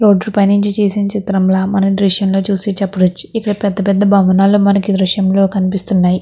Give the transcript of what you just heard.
రోడ్డుపై నుంచి చేసింది చిత్రంలా మనం దృశ్యంలో చూసి చెప్పవచ్చు. ఇక్కడ పెద్ద పెద్ద భవనాలు మనకు దృశ్యంలో కనిపిస్తున్నాయి.